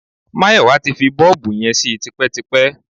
Máyọ̀wá ti fi bọ́ọ̀bù yẹn sí tipẹ́tipẹ́.